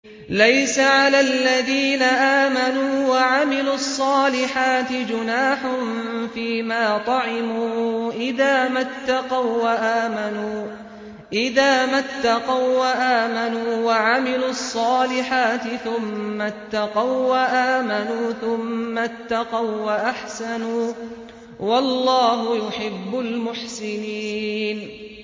لَيْسَ عَلَى الَّذِينَ آمَنُوا وَعَمِلُوا الصَّالِحَاتِ جُنَاحٌ فِيمَا طَعِمُوا إِذَا مَا اتَّقَوا وَّآمَنُوا وَعَمِلُوا الصَّالِحَاتِ ثُمَّ اتَّقَوا وَّآمَنُوا ثُمَّ اتَّقَوا وَّأَحْسَنُوا ۗ وَاللَّهُ يُحِبُّ الْمُحْسِنِينَ